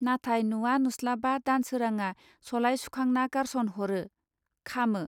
नाथाय नुवा नुस्लाबा दानसोरांआ सलाइ सुखांना गारस'न हरो, खामो